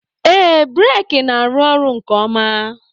Ee, breeki na-arụ ọrụ nke ọma.